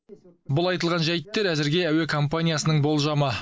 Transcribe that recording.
бұл айтылған жайттар әзірге әуе компаниясының болжамы